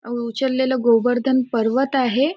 अ उचललेलं गोवर्धन पर्वत आहे.